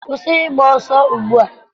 Kwụsị ịgba ọsọ ugbu a!